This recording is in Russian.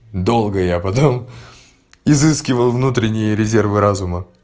долга я потом изыскивал внутренние резервы разума